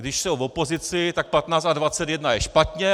Když jsou v opozici, tak 15 a 21 je špatně!